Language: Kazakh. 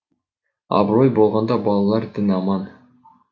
абырой болғанда балалар дін аман